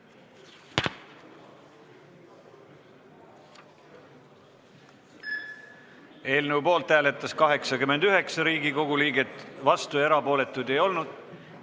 Hääletustulemused Eelnõu poolt hääletas 89 Riigikogu liiget, vastuolijaid ega erapooletuid ei olnud.